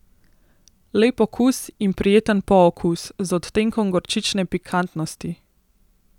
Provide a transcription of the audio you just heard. Lep okus in prijeten pookus, z odtenkom gorčične pikantnosti.